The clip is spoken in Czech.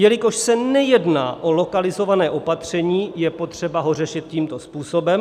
jelikož se nejedná o lokalizované opatření, je potřeba ho řešit tímto způsobem.